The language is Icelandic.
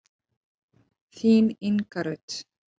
Þín, Inga Rut.